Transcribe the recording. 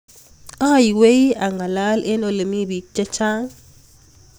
aiwei angalal eng olemi biik chechang